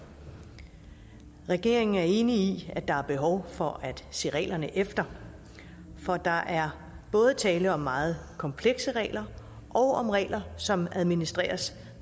regeringen er enig i at der er behov for at se reglerne efter for der er både tale om meget komplekse regler og om regler som administreres